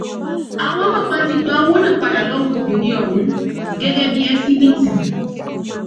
àwọn ọlọpàá ti gba owó náà padà lọwọ obìnrin ọhún gẹgẹ bíi ẹsíbìítì